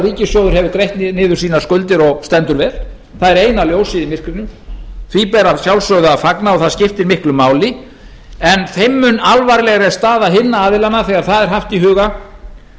ríkissjóður hefur greitt niður sínar skuldir og stendur vel það er eina ljósið í myrkrinu því ber að sjálfsögðu að fagna og það skiptir miklu máli en þeim mun alvarlegri er staða hinna aðilanna þegar það er haft í huga